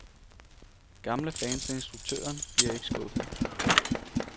Gamle fans af instruktøren bliver ikke skuffede.